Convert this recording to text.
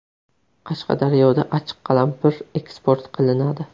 Qashqadaryoda achchiq qalampir eksport qilinadi.